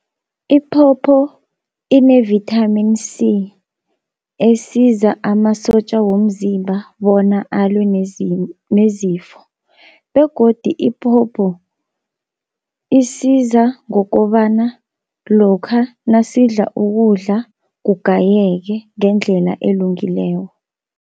Iphopho ine-Vitamin C esiza amasotja womzimba bona alwe nezifo, begodi iphopho isiza ngokobana lokha nasidla ukudla kugayeke ngendlela elungileko.